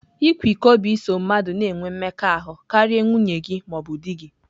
Ịkwa iko bụ iso mmadụ na-enwe mmekọahụ karịa nwunye gị ma ọ bụ di gị.